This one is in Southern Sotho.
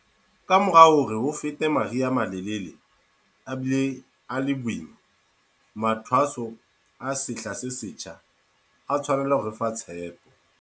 Kamora hore ho fete mari ha a malelele a bile a le boima, mathwaso a sehla se setjha a tshwanela ho re fa tshepo.